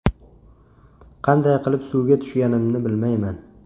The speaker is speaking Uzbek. Qanday qilib suvga tushganimni bilmayman.